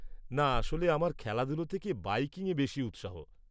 না, আসলে আমার খেলাধুলো থেকে বাইকিংয়ে বেশি উৎসাহ।